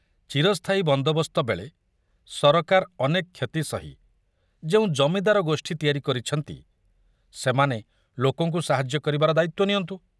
ଚିରସ୍ଥାୟୀ ବନ୍ଦୋବସ୍ତ ବେଳେ ସରକାର ଅନେକ କ୍ଷତି ସହି ଯେଉଁ ଜମିଦାର ଗୋଷ୍ଠୀ ତିଆରି କରିଛନ୍ତି, ସେମାନେ ଲୋକଙ୍କୁ ସାହାଯ୍ୟ କରିବାର ଦାୟିତ୍ୱ ନିଅନ୍ତୁ।